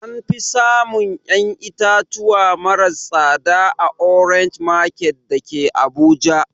Anfi samun ƴan itatuwa maras tsada a orange market dake abuja